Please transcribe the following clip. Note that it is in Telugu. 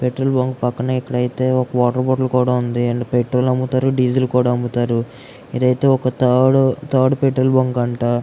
పెట్రోల్ బంక్ పక్కన ఇక్కడ అయితే ఇక్కడైతే ఒక వాటర్ బాటిల్ కూడా ఉంది అందులో పెట్రోల్ అమ్ముతారు డీజిల్ అమ్ముతారు ఇదైతే ఒక తాడు తాడు పెట్రోల్ బంక్ అంట.